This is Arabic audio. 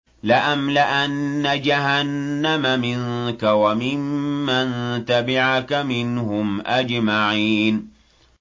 لَأَمْلَأَنَّ جَهَنَّمَ مِنكَ وَمِمَّن تَبِعَكَ مِنْهُمْ أَجْمَعِينَ